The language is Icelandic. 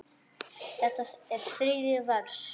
Þetta er þriðja vers.